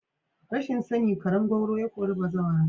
Rashin sani karen gwauro ya kori bazawara.